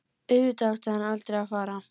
Auðvitað átti hann aldrei að fara.